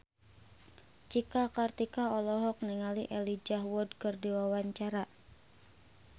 Cika Kartika olohok ningali Elijah Wood keur diwawancara